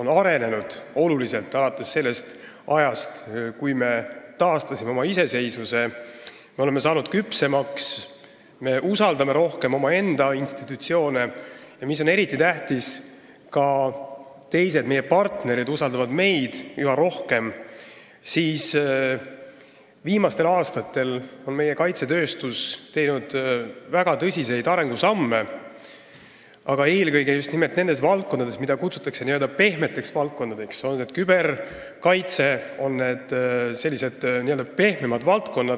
on oluliselt arenenud alates sellest ajast, kui me taastasime oma iseseisvuse, me oleme saanud küpsemaks ja me usaldame rohkem omaenda institutsioone ning mis on eriti tähtis, ka teised, meie partnerid, usaldavad meid üha rohkem – on meie kaitsetööstus viimastel aastatel teinud väga tõsiseid arengusamme eelkõige nendes valdkondades, mida kutsutakse n-ö pehmeteks valdkondadeks, näiteks küberkaitses.